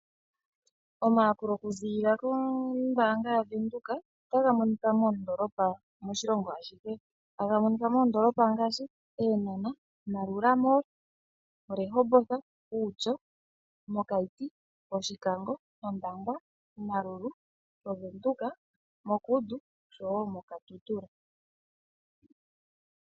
Omayakulo okuzilila kombaanga yaWindhoek otaga monika moondolopa moshilongo ashihe, taga monika moondolopa ngaashi Eenahana, Maroela mall, Rehoboth, Outjo, Keetmanshoop, Oshikango, Ondangwa, Omaruru, Windhoek, Kudu nosho wo moKatutura.